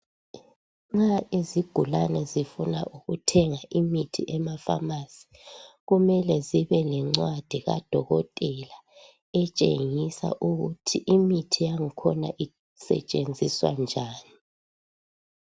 Nxa izigulane zifuna ukuthenga imithi emafamasi kumele zibe lencadi kadokotela etshengisa ukuthi imithi yakhona isetshenziswa njani.